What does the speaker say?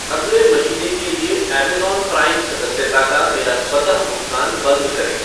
अगले महीने के लिए अमेज़न प्राइम सदस्यता का मेरा स्वतः भुगतान बंद करें ।